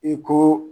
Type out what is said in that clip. I ko